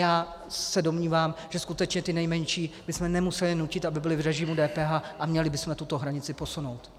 Já se domnívám, že skutečně ty nejmenší bychom nemuseli nutit, aby byli v režimu DPH, a měli bychom tuto hranici posunout.